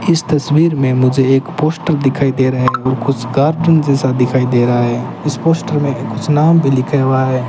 इस तस्वीर में मुझे एक पोस्टर दिखाई दे रहा है और कुछ कार्टून जैसा दिखाई दे रहा है इस पोस्टर में कुछ नाम भी लिखा हुआ है।